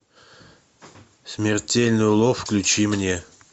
смертельный улов включи мне